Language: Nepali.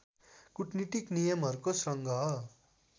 कूटनीतिक नियमहरूको सङ्ग्रह